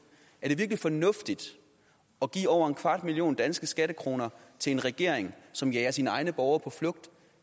er det virkelig fornuftigt at give over en kvart milliard danske skattekroner til en regering som jager sine egne borgere på flugt